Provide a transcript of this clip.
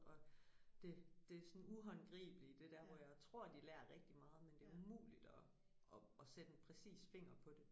Og det det sådan uhåndgribelige det der hvor jeg tror de lærer rigtig meget men det umuligt at at at sætte en præcis finger på det